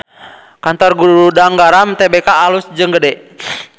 Kantor Gudang Garam Tbk alus jeung gede